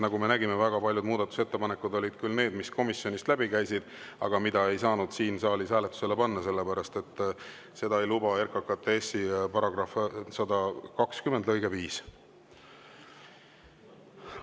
Nagu me nägime, väga paljud muudatusettepanekud olid sellised, et need küll komisjonist läbi käisid, aga neid ei saanud siin saalis hääletusele panna, sest seda ei luba RKKTS‑i § 120 lõige 5.